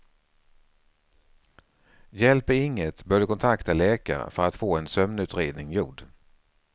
Hjälper inget bör du kontakta läkare för att få en sömnutredning gjord.